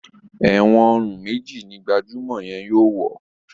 èwòn òrun méjì ní gbajumọ yén yóò wọ.